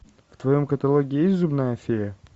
в твоем каталоге есть зубная фея